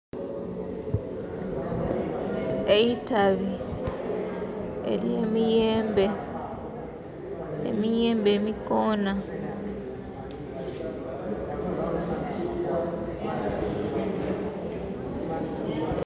Eitabi ely'emiyembe emiyembe emikoonha